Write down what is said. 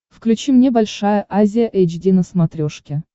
включи мне большая азия эйч ди на смотрешке